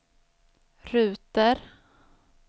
ruter